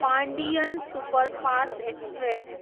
Pandian superfast express